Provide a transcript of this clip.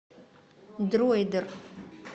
дроидер